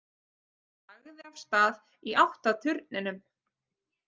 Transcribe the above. Hann lagði af stað í átt að turninum.